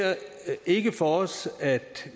ikke for os at